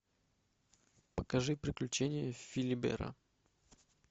покажи приключения филибера